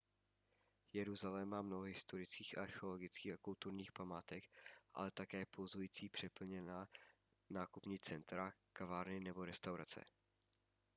jeruzalém má mnoho historických archeologických a kulturních památek ale také pulzující a přeplněná nákupní centra kavárny nebo restaurace